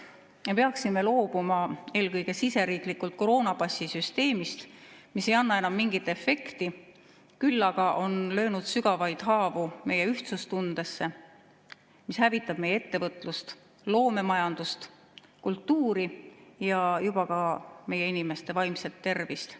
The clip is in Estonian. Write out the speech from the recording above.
Me peaksime loobuma eelkõige siseriiklikult koroonapassisüsteemist, mis ei anna enam mingit efekti, küll aga on löönud sügavaid haavu meie ühtsustundesse, mis hävitab meie ettevõtlust, loomemajandust, kultuuri ja juba ka meie inimeste vaimset tervist.